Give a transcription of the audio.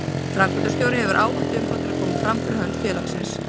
Framkvæmdastjóri hefur ávallt umboð til að koma fram fyrir hönd félagsins.